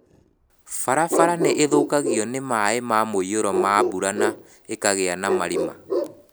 Barabara nĩ ithukagio nĩ maĩ ma mũiyũro ma mbura na ikagĩa na marima.